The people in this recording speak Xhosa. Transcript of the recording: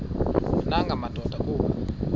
nanga madoda kuba